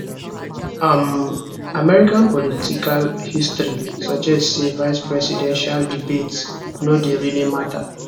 um american political history suggest say vicepresidential debates no dey really matter